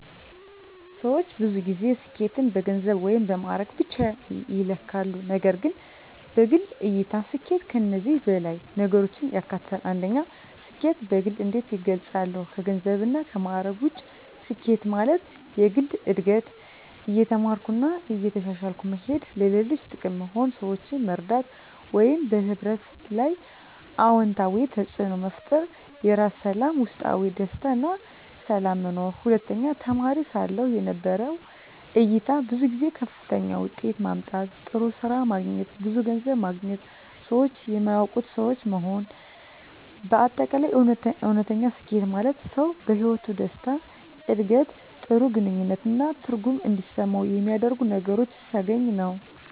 ሰዎች ብዙ ጊዜ ስኬትን በገንዘብ ወይም በማዕረግ ብቻ ይለካሉ፣ ነገር ግን በግል እይታ ስኬት ከዚህ በላይ ነገሮችን ያካትታል። 1. ስኬትን በግል እንዴት እገልጻለሁ ከገንዘብና ከማዕረግ ውጭ ስኬት ማለት፦ የግል እድገት – እየተማርኩ እና እየተሻሻልኩ መሄድ ለሌሎች ጥቅም መሆን – ሰዎችን መርዳት ወይም በሕብረተሰብ ላይ አዎንታዊ ተፅዕኖ መፍጠር የራስ ሰላም – ውስጣዊ ደስታ እና ሰላም መኖር 2. ተማሪ ሳለሁ የነበረው እይታ ብዙ ጊዜ ከፍተኛ ውጤት ማምጣት፣ ጥሩ ስራ ማግኘት፣ ብዙ ገንዘብ ማግኘት ሰዎች የሚያውቁት ሰው መሆን በ አጠቃላይ: እውነተኛ ስኬት ማለት ሰው በሕይወቱ ደስታ፣ ዕድገት፣ ጥሩ ግንኙነት እና ትርጉም እንዲሰማው የሚያደርጉ ነገሮችን ሲያገኝ ነው።